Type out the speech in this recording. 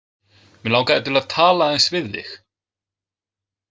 Mig langaði til að tala aðeins við þig.